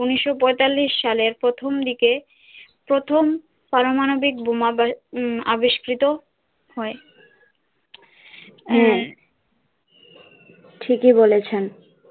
উনিশশো পয়তাল্লিশ সালে প্রথমদিকে প্রথম পারমাণবিক বোমা বা হম আবিষ্কৃত হয় হম হা ঠিক ই বলেছেন